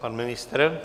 Pan ministr?